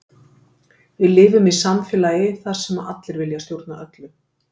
Við lifum í samfélagi þar sem allir vilja stjórna öllu.